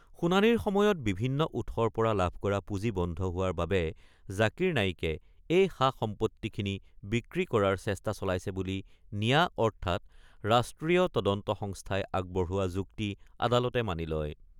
শুনানিৰ সময়ত বিভিন্ন উৎসৰ পৰা লাভ কৰা পুঁজি বন্ধ হোৱাৰ বাবে জাকিৰ নায়িকে এই সা-সম্পত্তিখিনি বিক্ৰী কৰাৰ চেষ্টা চলাইছে বুলি নিয়া অৰ্থাৎ ৰাষ্ট্ৰীয় তদন্ত সংস্থাই আগবঢ়োৱা যুক্তি আদালতে মানি লয়।